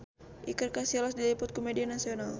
Iker Casillas diliput ku media nasional